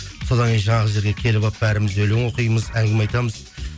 содан кейін жаңағы жерге келіп алып бәріміз өлең оқимыз әңгіме айтамыз